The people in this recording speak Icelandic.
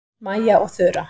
Mæja og Þura